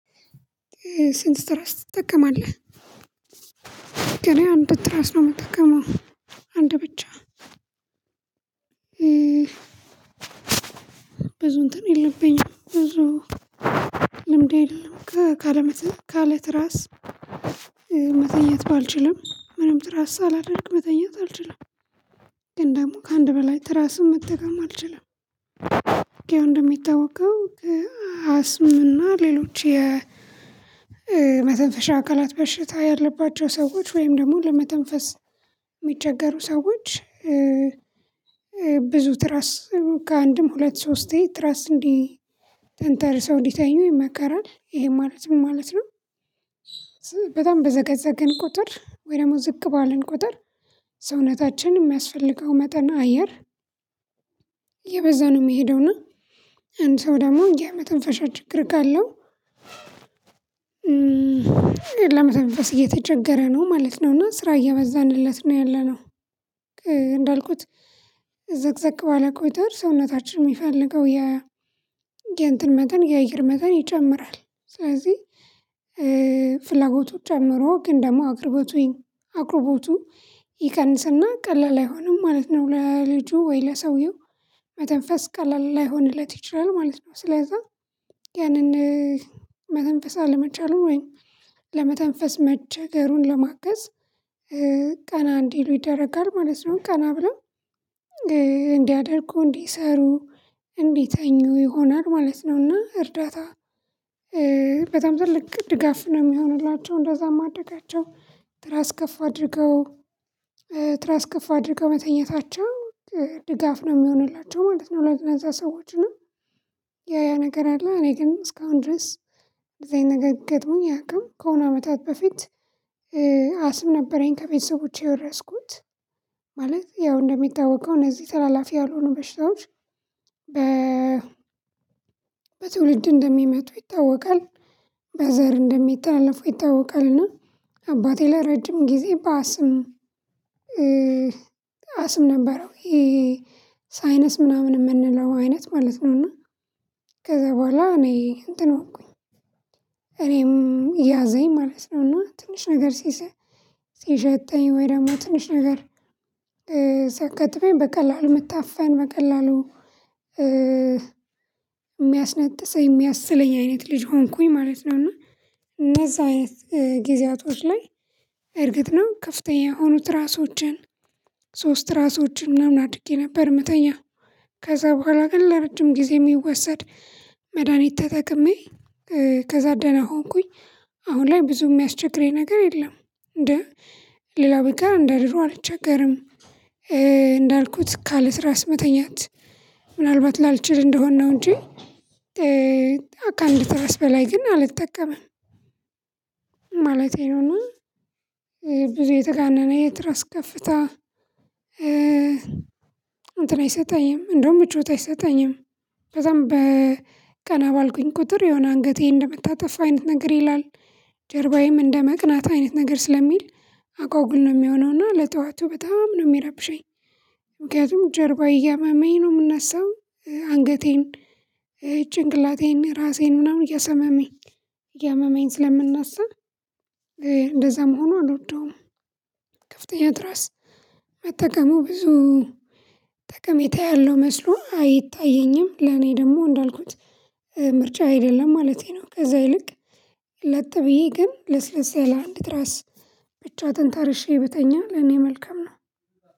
ስንት ትራስ ትጠቀማለህ? እኔ አንድ ትራስ ነው የምጠቀመው አንድ ብቻ። ብዙ እንትን የለብኝም ብዙ ልምድ የለም ካለመተ ካለትራስ መተኛት ባልችልም ምንም ትራስ ሳላደርግ መተኛት አልችልም። ግን ደግሞ ከአንድ በላይ ትራስም መጠቀም አልችልም። ያው እንደሚታወቀው አስምና ሌሎች የመተንፈሻ አካላት በሽታ ያለባቸው ሰዎች ወይም ደግሞ ለመተንፈስ የሚቸገሩ ሰዎች። ብዙ ትራስ ከአንድም ሁለት ሶስቴ ትራስ እንዲህ ተንተርሰው እንዲተኙ ይመከራል ይሄ ማለት ምን ማለት ነው? በጣም በዘቀዘቅን ቁጥር ወይ ደግሞ ዝቅ ባልን ቁጥር ሰውነታችን የሚያስፈልገው መጠን አየር ነው የሚሄደውና። አንድ ሰው ደግሞ የመተንፈሻ ችግር ካለው ለመተንፈስ እየተቸገረ ነው ማለት ነው እና ስራ እያበዛንለት ነው ያለነው። እንዳልኩት ዘቅዘቅ ባለ ቁጥር ሰውነታችን የሚፈልገው የእንትን መጠን የአየር መጠን ይጨምራል። ስለዚህ ፍላጎቱ ጨምሮ ግን ደግሞ አቅርበቱ አቅርቦቱ ይቀንስና ቀላል አይሆንም ማለት ነው። ለልጁ ወይ ለሰውየው ቀላል ላይሆንለት ይችላል ማለት ነው። ስለዛ ያንን መተንፈስ አለመቻሉን ወይም ለመተንፈስ መቸገሩን ለማገዝ ቀና እንዲሉ ይደረጋል ማለት ነው። ቀና ብለው እንዲያደርጉ፣ እንዲሰሩ፣ እንዲተኙ ይሆናል ማለት ነውና። እርዳታ በጣም ትልቅ ድጋፍ ነው የሚሆንላቸው። እንደዛ ማድረጋቸው ትራስ ከፍ አድርገው ትራስ ከፍ አድርገው መተኛታቸው ድጋፍ ነው የሚሆንላቸው ማለት ነው። ለነዛ ሰዎች እና ያ ያ ነገር አለ እኔ ግን እስካሁን ድረስ እንደዛ አይነት ነገር ገጥሞኝ አያውቅም። ከሆነ አመታት በፊት አስም ነበረኝ ከቤተሰቦቼ የወረስኩት። ማለት ያው እንደሚታወቀው እነዚህ ተላላፊ ያልሆኑ በሽታዎች በ በትውልድ እንደሚመጡ ይታወቃል። በዘር እንደሚታለፉ ይታወቃልና። አባቴ ለረጅም ጊዜ በአስም አስም ነበረው። ይሄ ሳይነስ ምናምን የምንለው አይነት ማለት ነውና። ከዛ በኋላ እኔ እንትን ሆንኩኝ እኔም ያዘኝ ማለት ነው። እና ትንሽ ነገር ሲሸተኝ ወይም ትንሽ ነገር ሲያጋጥመኝ በቀላሉ መታፈን በቀላሉ የሚያስነጥሰኝ የሚያስለኝ አይነት ልጅ ሆንኩኝ ማለት ነው። እና እነዛ አይነት ጊዜያቶች ላይ እርግጥ ነው ከፍተኛ የሆኑ ትራሶችን ሶስት ራሶችን ምናምን አድርጌ ነበር የምተኛው። ከዛ በኋላ ግን ለረጅም ጊዜ የሚወሰድ መድሃኒት ተጠቅሜ ከዛ ደህና ሆንኩኝ። አሁን ላይ ብዙ የሚያስቸግረኝ ነገር የለም። እንደ ሌላ ቢቀር እንደ ድሮ አልቸገርም። እንዳልኩት ካለትራስ መተኛት ምናልባት ላልችል እንደሆን ነው እንጂ ትራስ በላይ ግን አልተጠቀመም። ማለቴ ነው እና ብዙ የተጋነነ የትራስ ከፍታ እንተን አይሰጠኝም እንደውም ምቾት አይሰጠኝም። በጣም በቀና ባልኩኝ ቁጥር የሆነ አንገቴ እንደመታጠፋ አይነት ነገር ይላል ጀርባዬም እንደመቅናት አይነት ነገር ስለሚል አጓጉል ነው የሚሆነው። እና ለጠዋቱ በጣም ነው የሚረብሸኝ። ምክንያቱም ጀርባዬ እያመመኝ ነው የምነሳው። አንገቴን ጭንቅላቴን ራሴን ምናምን እያሰመመኝ እያመመኝ ስለምነሳ እንደዛ መሆኑ አልወደውም። ከፍተኛ ትራስ መጠቀሙ ብዙ ጠቀሜታ ያለው መስሎ አይታየኝም። ለኔ ደግሞ እንዳልኩት ምርጫ አይደለም ማለቴ ነው። ከዛ ይልቅ ለጥ ብዬ ግን ለስለስ ያለ አንድ ትራስ ብቻ ተንተርሼ ብተኛ ለኔ መልካም ነው።